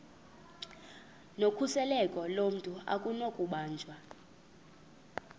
nokhuseleko lomntu akunakubanjwa